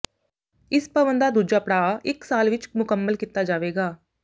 ਇਸ ਭਵਨ ਦਾ ਦੂਜਾ ਪੜਾਆ ਇੱਕ ਸਾਲ ਵਿਚ ਮੁਕੰਮਲ ਕੀਤਾ ਜਾਵੇਗਾ